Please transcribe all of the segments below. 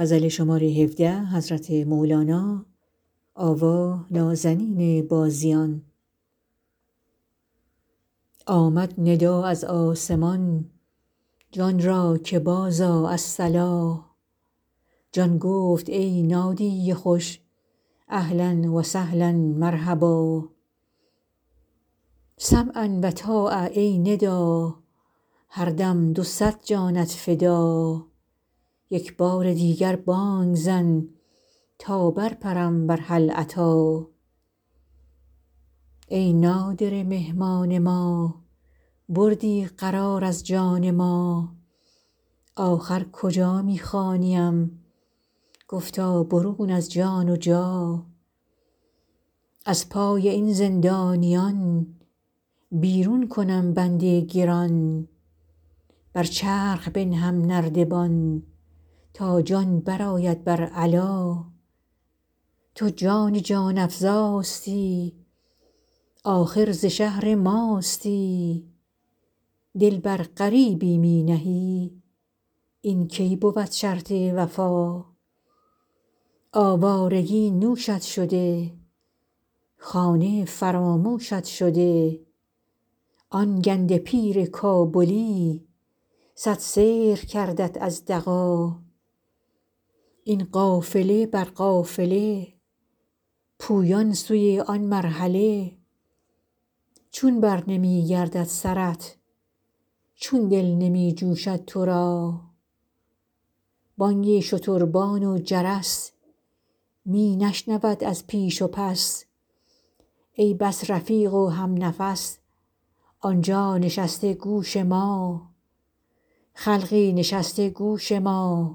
آمد ندا از آسمان جان را که بازآ الصلا جان گفت ای نادی خوش اهلا و سهلا مرحبا سمعا و طاعه ای ندا هر دم دو صد جانت فدا یک بار دیگر بانگ زن تا برپرم بر هل اتی ای نادره مهمان ما بردی قرار از جان ما آخر کجا می خوانیم گفتا برون از جان و جا از پای این زندانیان بیرون کنم بند گران بر چرخ بنهم نردبان تا جان برآید بر علا تو جان جان افزاستی آخر ز شهر ماستی دل بر غریبی می نهی این کی بود شرط وفا آوارگی نوشت شده خانه فراموشت شده آن گنده پیر کابلی صد سحر کردت از دغا این قافله بر قافله پویان سوی آن مرحله چون برنمی گردد سرت چون دل نمی جوشد تو را بانگ شتربان و جرس می نشنود از پیش و پس ای بس رفیق و همنفس آن جا نشسته گوش ما خلقی نشسته گوش ما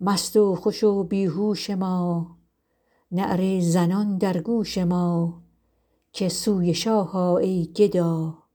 مست و خوش و بی هوش ما نعره زنان در گوش ما که سوی شاه آ ای گدا